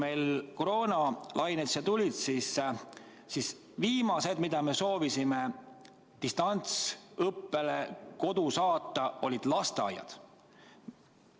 Kui koroonalained siia tulid, siis viimased, keda me soovisime koju distantsõppele saata, olid lasteaialapsed.